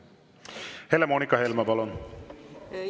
Helle-Moonika Helme, palun!